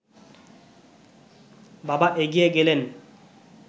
বাবা এগিয়ে গেলেন